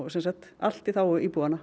sem sagt allt í þágu íbúanna